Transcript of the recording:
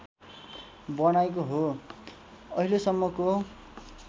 बनाएको हो अहिलेसम्मको